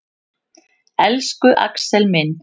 Elsku Axel minn.